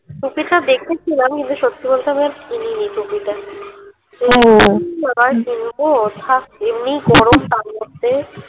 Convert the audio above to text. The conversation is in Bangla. টুপিটা দেখেছিলাম সত্যি বলতে আমি আর কিনি নি টুপিটা আবার কিনবো থাকে এমনি ই গরম তার মধ্যে